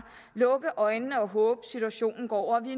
lukke øjnene og håbe at situationen går over vi